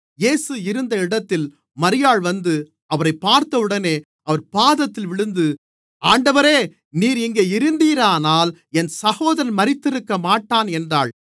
இயேசு இருந்த இடத்தில் மரியாள் வந்து அவரைப் பார்த்தவுடனே அவர் பாதத்தில் விழுந்து ஆண்டவரே நீர் இங்கே இருந்தீரானால் என் சகோதரன் மரித்திருக்கமாட்டான் என்றாள்